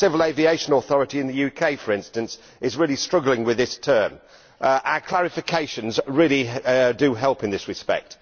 The Civil Aviation Authority in the UK, for instance, is really struggling with this term. Our clarifications really do help in this respect.